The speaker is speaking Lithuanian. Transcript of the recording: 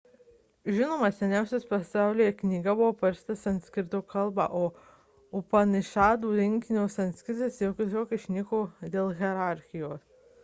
žinoma seniausia pasaulyje knyga buvo parašyta sanskrito kalba po upanišadų rinkinio sanskritas tiesiog išnyko dėl hierarchijos